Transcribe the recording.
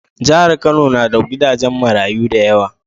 Jahar kano na da gidajen marayu dayawa